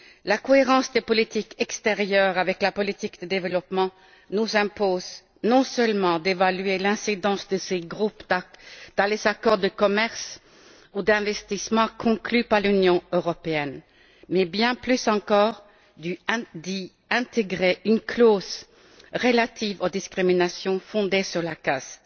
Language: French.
La cohérence des politiques extérieures avec la politique de développement nous impose non seulement d'évaluer l'incidence de ces groupes dans les accords de commerce ou d'investissement conclus par l'Union européenne mais, bien plus encore, d'y intégrer une clause relative aux discriminations fondées sur la caste.